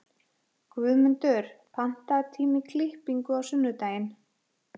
Guðmundur, pantaðu tíma í klippingu á sunnudaginn.